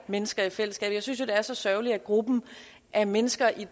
mennesker i fællesskabet jeg synes jo at det er så sørgeligt at gruppen af mennesker i